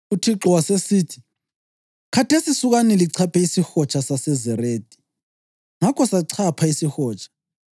“ UThixo wasesithi, ‘Khathesi sukani lichaphe isiHotsha saseZeredi.’ Ngakho sachapha isihotsha.